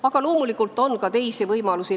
Aga loomulikult on ka teisi võimalusi.